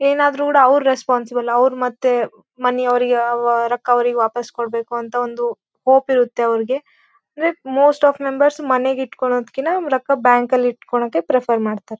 ಏನಾದ್ರು ಕೂಡ ಅವ್ರ್ ರೆಸ್ಪೋನ್ಸಿಬಲ್. ಅವ್ರ್ ಮತ್ತೆ ಮನೆಯವರಿಗೆ ಅವರ ರೊಕ್ಕಾ ವಾಪಾಸ್ ಕೊಡ್ಬೇಕು ಅಂತ ಒಂದು ಹೋಪ್ ಇರತ್ತೆ ಅವರಿಗೆ. ಇಟ್ ಮೋಸ್ಟ ಆಫ್ ಮೆಂಬರ್ಸ್ ಮನೆಗೆ ಇಟ್ಟುಕೊಳ್ಳುವುದಕ್ಕಿಂತ ರೊಕ್ಕ ಬ್ಯಾಂಕ್ ಅಲ್ಲಿ ಇಟ್ಟಿಕೊಳ್ಳುವುದಕ್ಕೆ ಮಾಡ್ತಾರೆ.